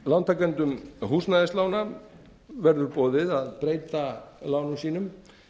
lántakendum húsnæðislána verður boðið að breyta lánum sínum